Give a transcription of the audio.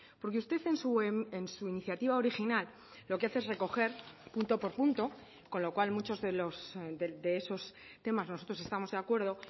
porque usted en su iniciativa original lo que hace es recoger punto por punto con lo cual muchos de esos temas nosotros estamos de acuerdo